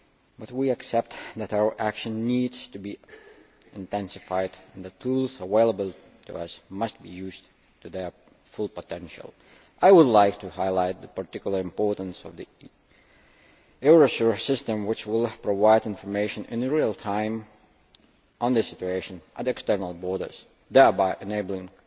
But we accept that our action needs to be intensified and the tools available to us must be used to their full potential. I would like to highlight the particular importance of the Eurosur system, which will provide information in real time on the situation at external borders, thereby enabling